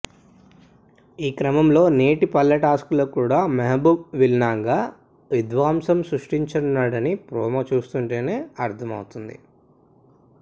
ఈ క్రమంలో నేటి పల్లె టాస్కులో కూడా మెహబూబ్ విలన్గా విధ్వంసం సృష్టించనున్నాడని ప్రోమో చూస్తుంటేనే అర్థమవుతోంది